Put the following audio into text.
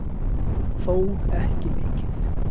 Þó ekki mikið